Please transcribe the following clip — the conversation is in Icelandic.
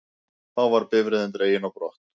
Þá var bifreiðin dregin á brott